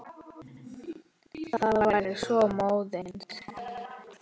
Það væri svo móðins.